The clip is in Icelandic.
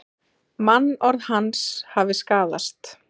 Mannorð hans hafi skaðast